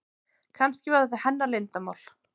Kannski var þetta hennar leyndarmál.